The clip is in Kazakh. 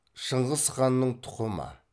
шыңғыс ханның тұқымы